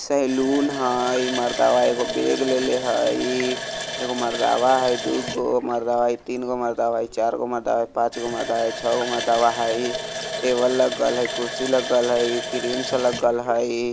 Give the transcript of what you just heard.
सैलून हई इ मर्दवा एगो बैग लेले हई एगो मर्दवा हई दू गो मर्दवा इ तीन गो मर्दवा इ चार गो मर्दवा इ पांच गो मर्दवा इ छ गो मर्दवा हई टेबल लगल हई कुर्सी लगल हई इ क्रीम सब लगल हई।